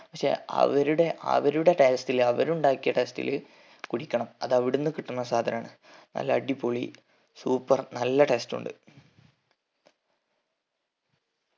പഷേ അവരുടെ അവരുടെ taste ഇൽ അവരുണ്ടാക്കിയ taste ഇൽ കുടിക്കണം അതവിടിന്ന് കിട്ടുന്ന സാധനണ് നല്ല അടിപൊളി super നല്ല taste ഉണ്ട്